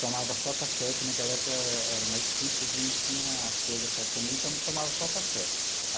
Tomava só café, porque naquela época era mais difícil, a gente não tinha as coisas para comer, então tomava só café.